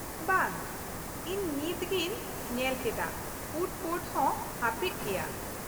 - ᱵᱟᱝ, ᱤᱧ ᱱᱤᱛ ᱜᱤᱧ ᱧᱮᱞ ᱠᱮᱫᱟ, ᱯᱷᱩᱰ ᱠᱳᱨᱴ ᱦᱚᱸ ᱦᱟᱹᱯᱤᱫ ᱜᱮᱭᱟ ᱾